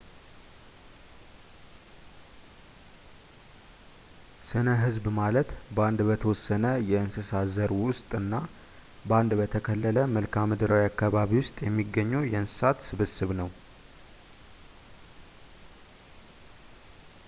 ስነ ህዝብ ማለት በአንድ በተወሰነ የእንስሳ ዘር ውስጥና በአንድ በተከለለ መልካምድራዊ አካባቢ ውስጥ የሚገኙ የእንሰሳት ስብስብ ነው